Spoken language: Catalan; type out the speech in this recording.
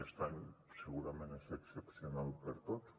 aquest any segurament és excepcional per a tots